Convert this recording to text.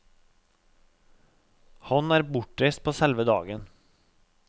Han er bortreist på selve dagen.